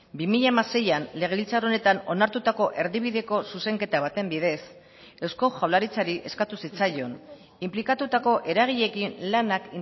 bi mila hamaseian legebiltzar honetan onartutako erdibideko zuzenketa baten bidez eusko jaurlaritzari eskatu zitzaion inplikatutako eragileekin lanak